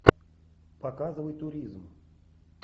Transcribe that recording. показывай туризм